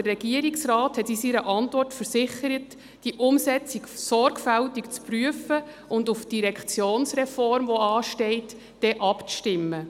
Der Regierungsrat versicherte in seiner Antwort, er werde die Umsetzung sorgfältig prüfen und sie auf die anstehende Direktionsreform abstimmen.